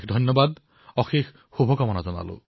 অশেষ ধন্যবাদ অশেষ শুভকামনা